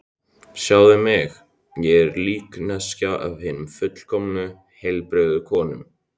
Sjáðu mig, ég er líkneskja af hinni fullkomnu, heilbrigðu konu.